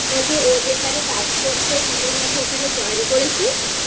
নাকি ও যেখানে কাজ করছে তুইও নাকি ওখানে Join করেছিস?